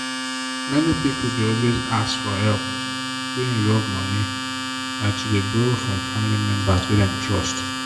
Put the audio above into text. many people dey always as for help wey involve money by to dey borrow from family members wey them trust.